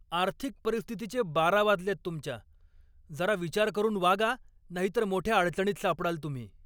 आर्थिक परिस्थितीचे बारा वाजलेत तुमच्या! जरा विचार करून वागा नाहीतर मोठ्या अडचणीत सापडाल तुम्ही.